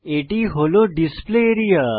এটি হল display area